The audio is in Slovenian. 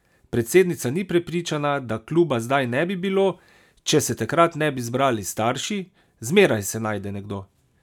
Predsednica ni prepričana, da kluba zdaj ne bi bilo, če se takrat ne bi zbrali starši: "Zmeraj se najde nekdo.